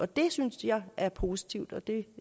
det synes jeg er positivt og det